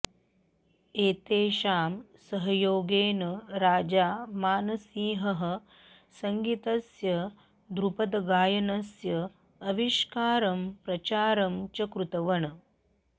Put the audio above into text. एतेषां सहयोगेन राजा मानसिंहः सङ्गीतस्य ध्रुपदगायनस्य आविष्कारं प्रचारं च कृतवन्